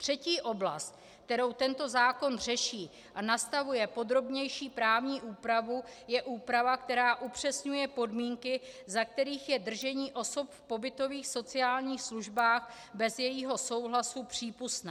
Třetí oblast, kterou tento zákon řeší a nastavuje podrobnější právní úpravu, je úprava, která upřesňuje podmínky, za kterých je držení osoby v pobytových sociálních službách bez jejího souhlasu přípustné.